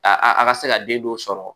A a ka se ka den dɔw sɔrɔ